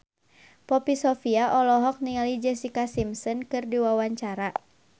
Poppy Sovia olohok ningali Jessica Simpson keur diwawancara